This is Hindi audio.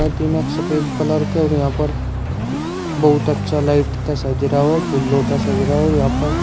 अतिनक सफेद कलर का और यहां पर बहुत अच्छा लाइट ते सज रहा और फूलों दा सज रहा और यहां पर --